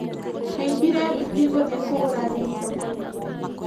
Haimbira nduthi gũthĩi kũgũra nyeni thokoinĩ.